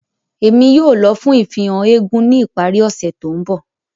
Emi yóò lọ fun ifihan éégún ni ipari ose to nbọ.